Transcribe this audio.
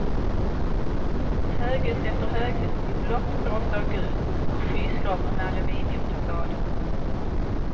Höghus efter höghus i blått, rosa och gult och skyskrapor med aluminiumfasader.